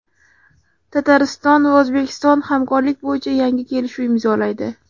Tatariston va O‘zbekiston hamkorlik bo‘yicha yangi kelishuv imzolaydi.